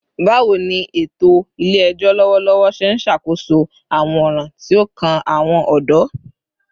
Bawo ni eto ile-ẹjọ lọwọlọwọ ṣe n ṣakoso awọn ọran ti o kan awọn ọdọ?